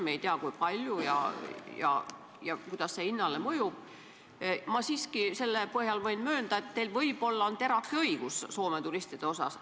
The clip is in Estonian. Me ei tea, kui palju ja kuidas see hinnale mõjub, aga ma siiski selle põhjal võin möönda, et teil võib-olla on terake õigus Soome turistide osas.